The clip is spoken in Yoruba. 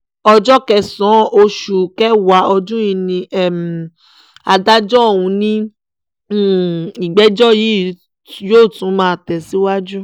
ọjọ́ kẹsàn-án oṣù kẹwàá ọdún yìí ni adájọ́ ọ̀hún ní ìgbẹ́jọ́ yóò tún máa tẹ̀síwájú